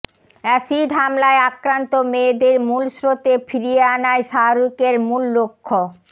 acid হামলায় আক্রান্ত মেয়েদের মূল স্রোতে ফিরিয়ে আনাই শাহরুখের মূল লক্ষ